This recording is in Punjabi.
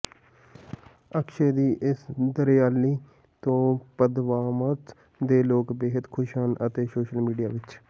ਅਕਸ਼ੇ ਦੀ ਇਸ ਦਰਿਆਦਿਲੀ ਤੋਂ ਪਦਮਾਵਤ ਦੇ ਲੋਕ ਬੇਹੱਦ ਖੁਸ਼ ਹਨ ਅਤੇ ਸੋਸ਼ਲ ਮੀਡੀਆ ਵਿੱਚ